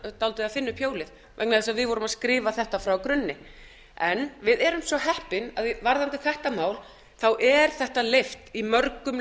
að finna upp hjólið vegna þess að við vorum að skrifa þetta frá grunni en við erum svo heppin að varðandi þetta mál er þetta leyft í mörgum